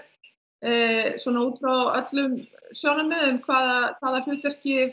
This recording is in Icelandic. svona út frá öllum sjónarmiðum hvaða hvaða hlutverki